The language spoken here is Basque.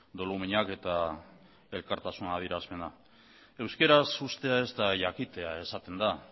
doluminak eta elkartasuna adierazpena euskaraz ustea ez da jakitea esaten da